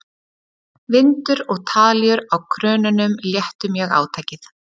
vindur og talíur á krönunum léttu mjög átakið